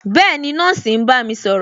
Bẹẹni, nọ́ọ̀sì ń bá mi sọ̀rọ̀